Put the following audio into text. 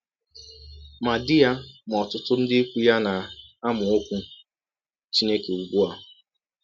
Ma di ya ma ọtụtụ ndị ikwụ ya na - amụ Ọkwụ Chineke ụgbụ a.